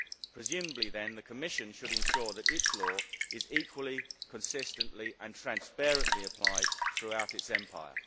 Presumably then, the Commission should ensure that its law is equally, consistently and transparently applied throughout its empire.